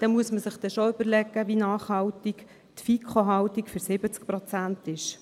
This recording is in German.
Da muss man sich dann schon überlegen, wie nachhaltig die FiKo-Haltung für 70 Prozent ist.